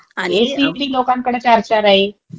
ऐसी अन ते लोकांकडे चार चार आहे.